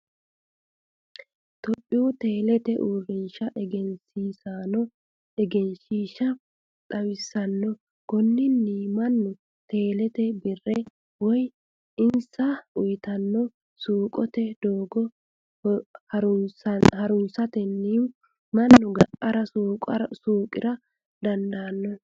Tophiyuu telete uurinsha eggensisanno eggenshhisha xawisanno, koninino manu tele birrete woyi insa uuyitano suuqotte doogo harunsatenni manu ga'ara suuqira dandano